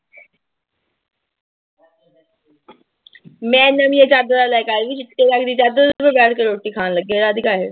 ਮੈਂ ਨਵੀਂਆਂ ਚਾਦਰਾਂ ਲੈ ਕੇ ਆਈ ਸੀ ਚਿੱਟੇ ਰੰਗ ਦੀ ਚਾਦਰ ਉਹ ਤੇ ਬੈਠ ਕੇ ਰੋਟੀ ਖਾਣ ਲੱਗੇ